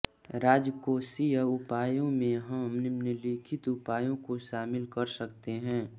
राजकोषीय उपायों में हम निम्नलिखित उपायों को शामिल कर सकते हैः